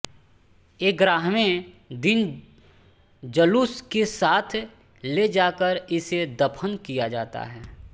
ग्यारहवें दिन जलूस के साथ ले जाकर इसे दफन किया जाता है